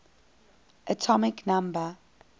atomic number